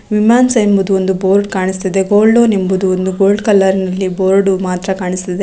ನಿಮಾನ್ಸ್ ಎಂಬುದು ಒಂದು ಬೋರ್ಡ್ ಕಾಣಿಸುತ್ತಿದೆ .ಗೋಲ್ಡ್ ಲೋನ್ ಎಂಬುದು ಗೋಲ್ಡ್ ಕಲರ್ ನಲ್ಲಿ ಬೋರ್ಡ್ ಮಾತ್ರ ಕಾಣಿಸುತ್ತಿದೆ .